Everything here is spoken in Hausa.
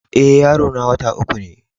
Eh, yaro na wota uku ne.